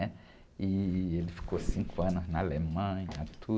né? E ele ficou cinco anos na Alemanha,